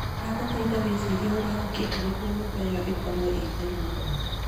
ndaguthaitha ta wĩcirie ũrĩa ũngĩka nĩguo nyũmba ĩyo ĩkorũo ĩrĩ theru muno .